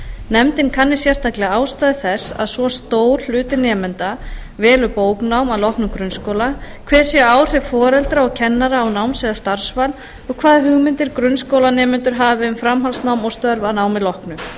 nefndin kanni sérstaklega ástæður þess að svo stór hluti nemenda velur bóknám að loknum grunnskóla hver séu áhrif foreldra og kennara á náms eða starfsval og hvaða hugmyndir grunnskólanemendur hafi um framhaldsnám og störf að námi loknu